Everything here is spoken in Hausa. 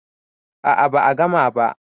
a a ba a gama ba